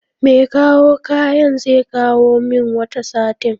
Mekawo kayan zekawo min wata satin